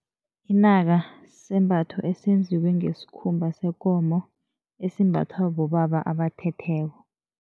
Inaka sisembatho esenziwe ngesikhumba sekomo, esimbathwa bobaba abathetheko.